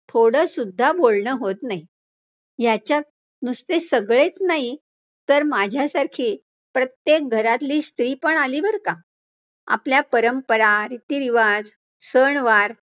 थोडं सुद्धा बोलणं होतं नाही, याच्यात नुसते सगळेच नाही, तर माझ्यासारखी प्रत्येक घरातली स्त्री पण आली बरं का, आपल्या परंपरा, रीतिरिवाज, सणवार